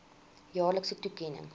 jaarlikse toekenning